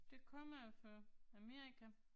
Det kommer jo fra Amerika